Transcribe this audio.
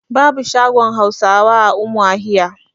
babu shagon Hausawa a umahiya